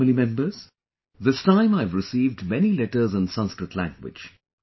My family members, this time I have received many letters in Sanskrit language